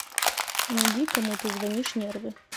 найди кому ты звонишь нервы